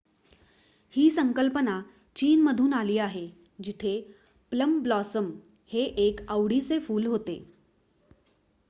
ही संकल्पना चीनमधून आली आहे जिथे प्लम ब्लॉसम हे एक आवडीचे फूल होते